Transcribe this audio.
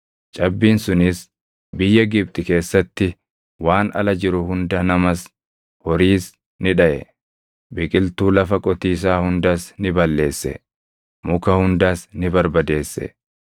Cabbiin sunis biyya Gibxi keessatti waan ala jiru hunda namas horiis ni dhaʼe; biqiltuu lafa qotiisaa hundas ni balleesse; muka hundas ni barbadeesse.